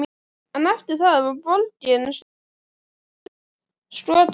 En eftir það var borgin stöðugt skotmark.